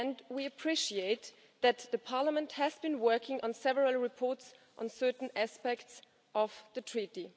We appreciate that Parliament has been working on several reports on certain aspects of the Treaty.